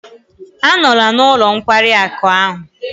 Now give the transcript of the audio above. Anọla n'ụlọ nkwari akụ ahụ!